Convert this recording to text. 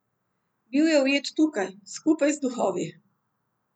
Bil je ujet tukaj, skupaj z duhovi.